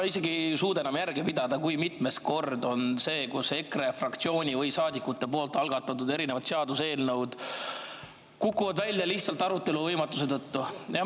Ma isegi ei suuda enam järge pidada, kui mitmes kord see on, kui EKRE fraktsiooni või EKRE saadikute algatatud seaduseelnõu kukub välja arutelu võimatuse tõttu.